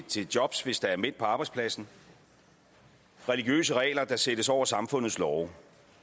til jobs hvis der er mænd på arbejdspladsen religiøse regler der sættes over samfundets love